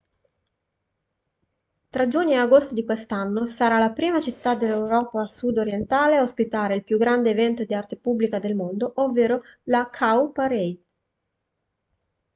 tra giugno e agosto di quest'anno sarà la prima città dell'europa sud-orientale a ospitare il più grande evento di arte pubblica del mondo ovvero la cowparade